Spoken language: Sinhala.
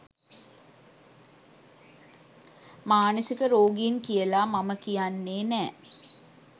මානසික රෝගීන් කියල මම කියන්නේ නෑ.